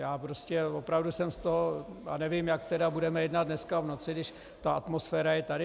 Já prostě opravdu jsem z toho - a nevím, jak tedy budeme jednat dneska v noci, když ta atmosféra je tady.